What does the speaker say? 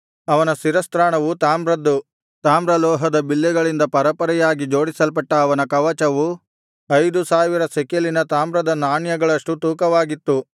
ಅವನ ಶಿರಸ್ತ್ರಾಣವು ತಾಮ್ರದ್ದು ತಾಮ್ರ ಲೋಹದ ಬಿಲ್ಲೆಗಳಿಂದ ಪರೆಪರೆಯಾಗಿ ಜೋಡಿಸಲ್ಪಟ್ಟ ಅವನ ಕವಚವು ಐದು ಸಾವಿರ ಶೆಕೆಲಿನ ತಾಮ್ರದ ನಾಣ್ಯಗಳಷ್ಟು ತೂಕವಾಗಿತ್ತು